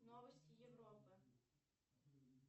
новости европы